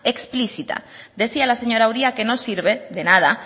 explícita decía la señora uria que no sirve de nada